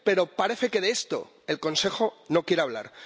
Pero parece que de esto el Consejo no quiere hablar.